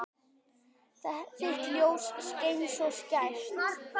Þitt ljós skein svo skært.